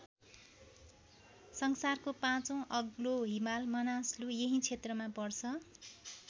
संसारको पाँचौँ अग्लो हिमाल मनासलु यही क्षेत्रमा पर्छ।